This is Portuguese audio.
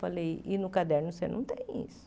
Falei, e no caderno você não tem isso.